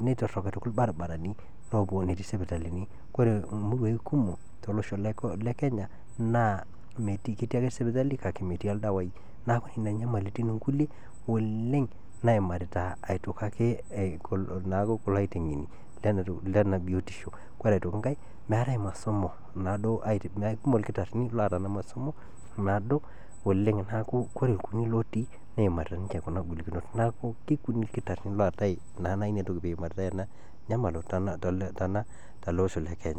netorok aitoki irbaribarani llopo netii sipitalini, koree murruaii kumok tolosho le kenya naaa ketii ake sipitali kake metii irdawaii naaku nena nyamalitin inkule olleng naimarita aitoki ake kulo aitengeni le ana biotisho, kore aitoki inkae meatae masomo naado mekumok irkitarini oota ana masomo amuu naado oleng, naaku koree lkunyii lotii neimarita ninche kuna ingolikinot, neaku kekunyii irkitarini lootae naaa ninye peimaritai ena inyamalo te ale losho le kenya.